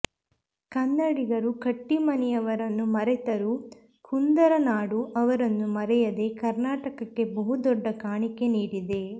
ಕನ್ನಡಿಗರು ಕಟ್ಟೀಮನಿಯವರನ್ನು ಮರೆತರೂ ಕುಂದರನಾಡು ಅವರನ್ನು ಮರೆಯದೆ ಕರ್ನಾಟಕಕ್ಕೆ ಬಹುದೊಡ್ಡ ಕಾಣಿಕೆ ನೀಡಿದೆ